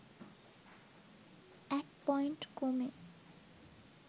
১ point কমে